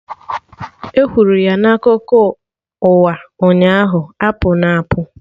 E kwuru ya na akụkọ ụwa ụnyaahụ, apụna apụ!